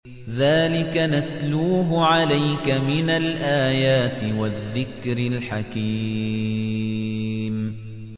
ذَٰلِكَ نَتْلُوهُ عَلَيْكَ مِنَ الْآيَاتِ وَالذِّكْرِ الْحَكِيمِ